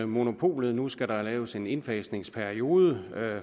monopolet nu skal der laves en indfasningsperiode